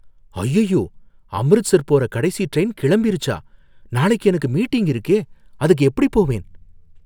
அய்யய்யோ, அம்ரித்சர் போற கடைசி ட்ரெயின் கிளம்பிருச்சா? நாளைக்கு எனக்கு மீட்டிங் இருக்கே, அதுக்கு எப்படி போவேன்?